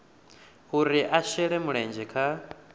uri a shele mulenzhe kha